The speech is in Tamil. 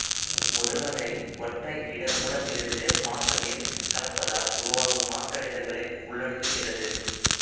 முதல்வகை ஒற்றை இட மூலத்திலிருந்து மாசு நீரில் கலப்பதனால் உருவாகும் மாசடைதல்களை உள்ளடக்குகிறது